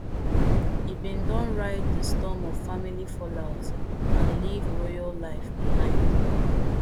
e bin don ride di storm of family fallout and leave royal life behind